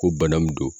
Ko bana min don